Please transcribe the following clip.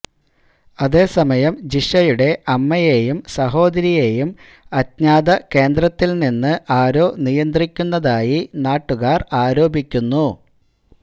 അതേ സമയം ജിഷയുടെ അമ്മയേയും സഹോദരിയേയും അജ്ഞാത കേന്ദ്രത്തില് നിന്ന് ആരോ നിയന്ത്രിക്കുന്നതായി നാട്ടുകാര് ആരോപിയ്ക്കുന്നു